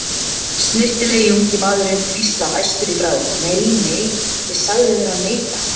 Snyrtilegi ungi maðurinn hvíslar æstur í bragði: Nei, nei, ég sagði þér að neita